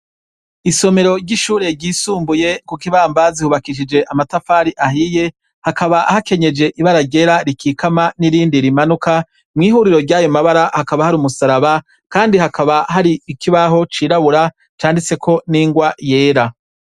Isomero ry'ishure ryisumbuye Kuk'Ibambazi hubakishijwe amatafari ahiye. hakaba hakenyeje ibara ryera rikikama nirindi rimanuka, mwihuriro ryayomabara hakaba hari umusaraba, kandi hakaba hari ikibaho c'irabura canditseko n'ingwa yera.